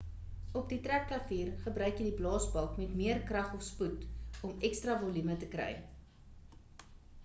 op die trekklavier gebruik jy die blaasbalk met meer krag of spoed, om ekstra volume te kry